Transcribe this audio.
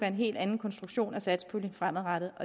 en helt anden konstruktion af satspuljen fremadrettet